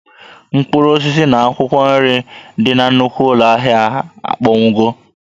Mkpụrụ osisi na akwụkwọ nri dị na nnukwu ụlọ ahịa a akpọnwụwo